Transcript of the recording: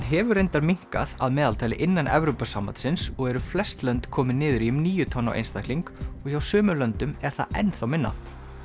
hefur reyndar minnkað að meðaltali innan Evrópusambandsins og eru flest lönd komin niður í um níu tonn á einstakling og hjá sumum löndum er það enn þá minna